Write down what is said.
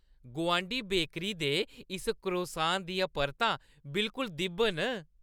गोआंढी बेकरी दे इस क्रोसान दियां परतां बिलकुल दि'ब्ब न।